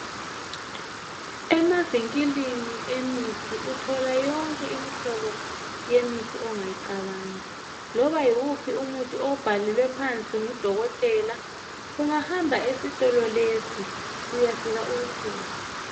Emavinkilini emithi uthola yonke imihlobo yemithi ongayicabanga. Loba yiwuphi umuthi owubhalelwe phansi ngudokotela ungahamba esitolo lesi uyafika uwuthole.